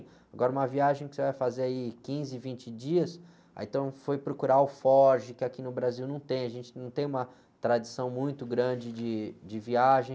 Agora, uma viagem que você vai fazer aí quinze, vinte dias, aí, então foi procurar alforge, que aqui no Brasil não tem, a gente não tem uma tradição muito grande de, de viagem.